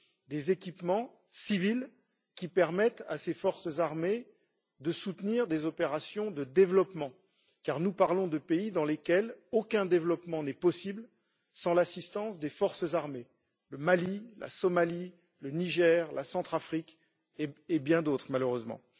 des équipements civils qui permettent à ces forces armées de soutenir des opérations de développement, car nous parlons de pays dans lesquels aucun développement n'est possible sans l'assistance des forces armées le Mali, la Somalie, le Niger, la Centrafrique et bien d'autres malheureusement.